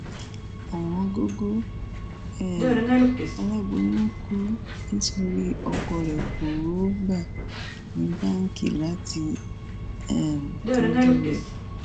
òwòǹgògò um aláboyún kú nítorí ọkọ rẹ kò rówó gbà ní báǹkì láti um tọjú rẹ